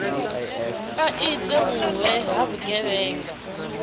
a ite vhuwe ha vhugevhenga